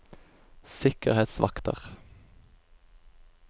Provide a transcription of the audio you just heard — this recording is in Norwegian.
sikkerhetsvakter